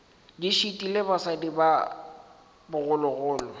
di šitile basadi ba bogologolo